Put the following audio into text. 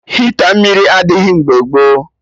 Hita mmiri adịghị mgbe gboo